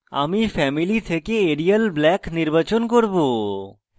আমি family থেকে arial black নির্বাচন করব